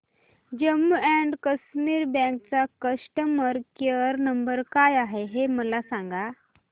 Jammu and Kashmir bank चा customer care number काय आहे हे मला सांगा